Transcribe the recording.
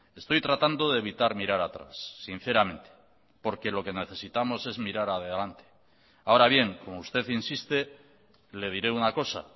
estoy tratando de evitar mirar atrás sinceramente porque lo que necesitamos es mirar adelante ahora bien como usted insiste le diré una cosa